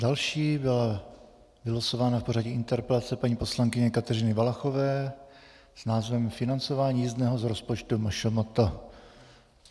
Další byla vylosována v pořadí interpelace paní poslankyně Kateřiny Valachové s názvem financování jízdného z rozpočtu MŠMT.